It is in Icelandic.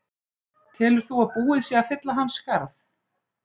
Telur þú að búið sé að fylla hans skarð?